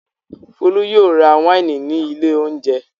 Folú yóò ra wáìnì ní ilé-oúnjẹ.